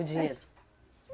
O dinheiro?